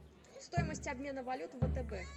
стоимость обмена валют втб